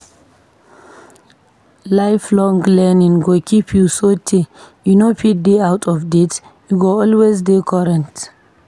Lifelong learning go keep you so tey you no fit dey out of date, u go always dey current.